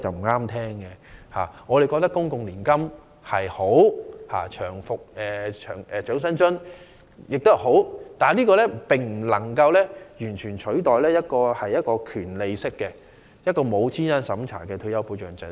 我們認為，公共年金及長者生活津貼皆是好的計劃，但兩者皆不能取代權利式的、沒有資產審查的退休保障制度。